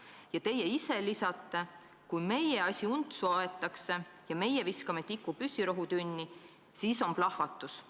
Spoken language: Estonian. " Ja teie ise lisasite: "Kui meie asi untsu aetakse ja meie viskame tiku püssirohutünni, siis on plahvatus.